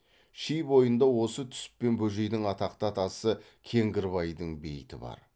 ши бойында осы түсіп пен бөжейдің атақты атасы кеңгірбайдың бейіті бар